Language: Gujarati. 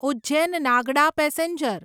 ઉજ્જૈન નાગડા પેસેન્જર